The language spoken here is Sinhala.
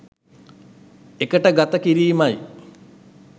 එකට ගත කිරීම යි.